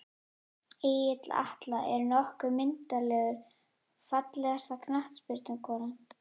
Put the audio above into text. Egill Atla er nokkuð myndarlegur Fallegasta knattspyrnukonan?